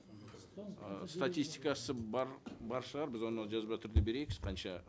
статистикасы бар бар шығар біз оны жазба түрде берейікші қанша